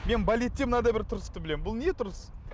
мен балетте мынадай бір тұрысты білемін бұл не тұрыс